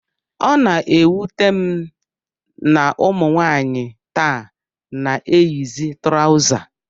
Ọ na-ewute m na ụmụ nwaanyị taa na-eyizi trọza